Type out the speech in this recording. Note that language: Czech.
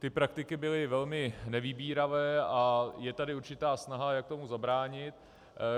Ty praktiky byly velmi nevybíravé a je tady určitá snaha, jak tomu zabránit.